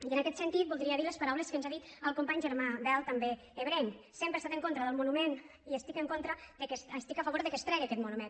i en aquest sentit voldria dir les paraules que ens ha dit el company germà bel també ebrenc sempre he estat en contra del monument i estic a favor que es tregui aquest monument